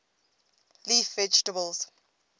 leaf vegetables